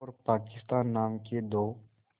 और पाकिस्तान नाम के दो